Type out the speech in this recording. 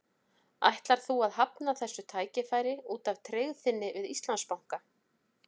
Ætlar þú að hafna þessu tækifæri út af tryggð þinni við Íslandsbanka?